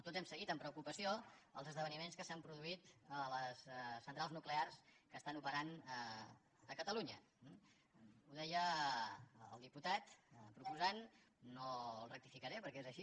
tots hem seguit amb preocupació els esdeveniments que s’han produït a les centrals nuclears que estan operant a catalunya ho deia el diputat proposant no el rectificaré perquè és així